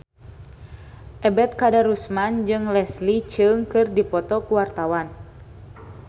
Ebet Kadarusman jeung Leslie Cheung keur dipoto ku wartawan